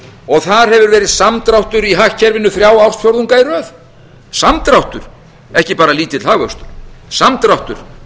og þar hefur verið samdráttur í hagkerfinu þrjá ársfjórðunga í röð samdráttur ekki bara lítill hagvöxtur samdráttur